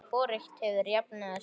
Hvorugt hefur jafnað sig.